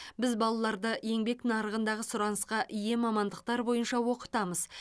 біз балаларды еңбек нарығындағы сұранысқа ие мамандықтар бойынша оқытамыз